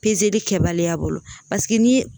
kɛbaliya bolo paseke ni ye